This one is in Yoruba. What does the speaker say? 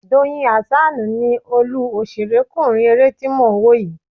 Doyin Hassan ni olú òṣèrékùnrin eré tí mò ń wò yìí